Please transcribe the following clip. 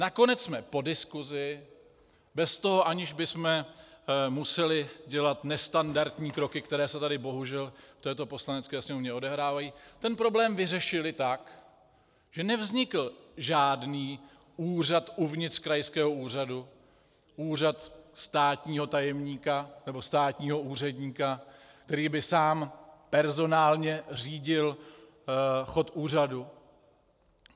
Nakonec jsme po diskusi, bez toho, aniž bychom museli dělat nestandardní kroky, které se tady bohužel v této Poslanecké sněmovně odehrávají, ten problém vyřešili tak, že nevznikl žádný úřad uvnitř krajského úřadu, úřad státního tajemníka, nebo státního úředníka, který by sám personálně řídil chod úřadu.